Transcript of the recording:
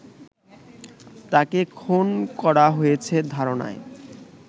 তাকে খুন করা হয়েছে ধারণায়